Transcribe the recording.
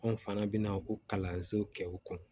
Anw fana bɛ na ko kalanso kɛ u kun